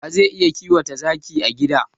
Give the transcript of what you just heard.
Wa zai iya kiwata zaki a gida?